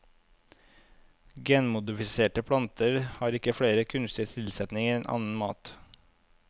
Genmodifiserte planter har ikke flere kunstige tilsetninger enn annen mat.